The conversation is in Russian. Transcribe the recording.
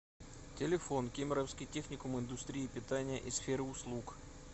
телефон кемеровский техникум индустрии питания и сферы услуг